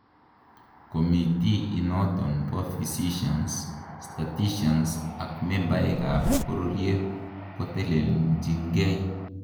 committee initon bo physicians, statisticians ak membaek ab bororyet koteleljingei